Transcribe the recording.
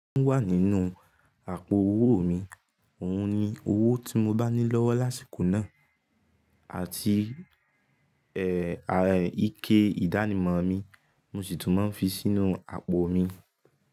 Ó wà nínú àpò owó mi, òhun ni owó tí mo bá ní lọ́wọ́ lásìkò náà àti ẹ́, ike ìdánimọ̀ mi, mo sì tún máa ń fi sínú àpò mi.